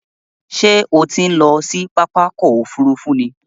Ṣé o ti ń lọ sí pápá ọkò òfurufú ni?